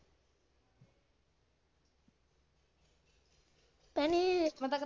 ਭੈਣੇ ਮੈਂ .